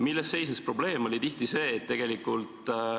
Milles seisnes probleem?